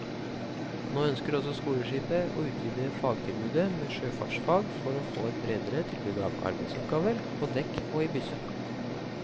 Nå ønsker også skoleskipet å utvide fagtilbudet med sjøfartsfag for å få et bredere tilbud av arbeidsoppgaver på dekk og i bysse.